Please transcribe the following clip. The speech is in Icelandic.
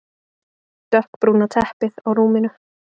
Dökkbrúna teppið á rúminu.